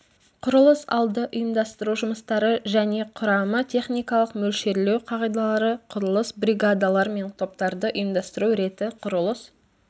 құрылыс алды ұйымдастыру жұмыстары және құрамы техникалық мөлшерлеу қағидалары құрылыс бригадалар мен топтарды ұйымдастыру реті құрылыс